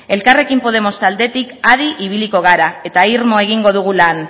elkarrekin podemos taldetik adi ibiliko gara eta irmo egingo dugu lan